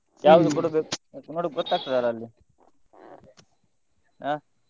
ಕೊಡಬೇಕು ನೋಡ್ವಾಗ ಗೊತ್ತಾಗ್ತದೆ ಅಲ್ಲ ಅಲ್ಲಿ ಹಾ.